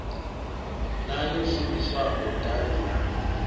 na yo shumiswaho davhi ḽa